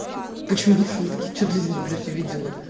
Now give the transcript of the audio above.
почему шутки что ты здесь блять увидела